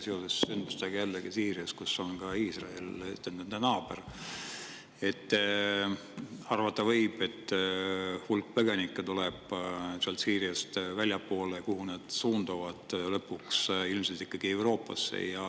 Jällegi seoses sündmustega Süürias – seal on ka Iisrael, nende naaber –, et arvata võib, et hulk põgenikke tuleb Süüriast väljapoole ja nad suunduvad lõpuks ilmselt ikkagi Euroopasse.